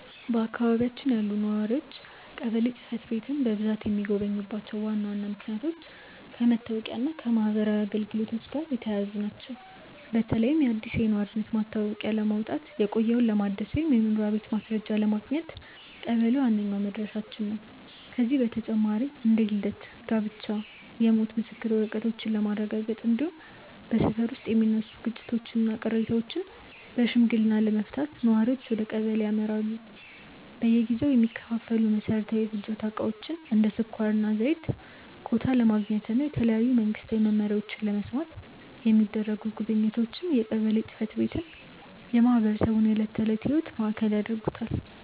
በአካባቢያችን ያሉ ነዋሪዎች ቀበሌ ጽሕፈት ቤትን በብዛት የሚጎበኙባቸው ዋና ዋና ምክንያቶች ከመታወቂያና ከማኅበራዊ አገልግሎቶች ጋር የተያያዙ ናቸው። በተለይም አዲስ የነዋሪነት መታወቂያ ለማውጣት፣ የቆየውን ለማደስ ወይም የመኖሪያ ቤት ማስረጃ ለማግኘት ቀበሌ ዋነኛው መድረሻችን ነው። ከዚህ በተጨማሪ እንደ የልደት፣ የጋብቻና የሞት የምስክር ወረቀቶችን ለማረጋገጥ፣ እንዲሁም በሰፈር ውስጥ የሚነሱ ግጭቶችንና ቅሬታዎችን በሽምግልና ለመፍታት ነዋሪዎች ወደ ቀበሌ ያመራሉ። በየጊዜው የሚከፋፈሉ መሠረታዊ የፍጆታ ዕቃዎችን (እንደ ስኳርና ዘይት) ኮታ ለማግኘትና የተለያዩ መንግስታዊ መመሪያዎችን ለመስማት የሚደረጉ ጉብኝቶችም የቀበሌን ጽሕፈት ቤት የማኅበረሰቡ የዕለት ተዕለት ሕይወት ማዕከል ያደርጉታል።